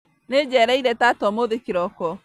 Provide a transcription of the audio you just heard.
Nĩnjereire tata ũmũthĩ kĩroko